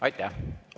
Aitäh!